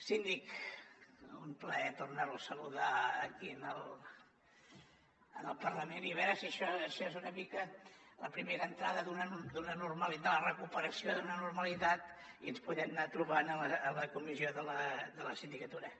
síndic un plaer tornar lo a saludar aquí en el parlament i a veure si això és una mica la primera entrada d’una normalitat la recuperació d’una normalitat i ens podem anar trobant a la comissió de la sindicatura